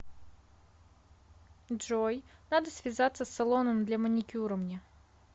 джой надо связаться с салоном для маникюра мне